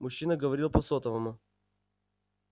мужчина говорил по сотовому